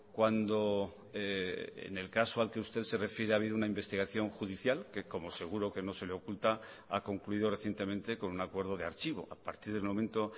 cuando en el caso al que usted se refiere ha habido una investigación judicial que como seguro que no se le oculta ha concluido recientemente con un acuerdo de archivo a partir del momento